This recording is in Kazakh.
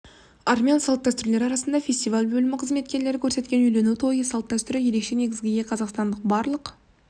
армян салт-дәстүрлері арасында фестиваль бөлім қызметкерлері көрсеткен үйлену той салт-дәстүрі ерекше негізгі ие қазақстанды барлық